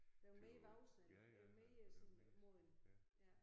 Blevet mere voksen eller blevet mere sådan moden ja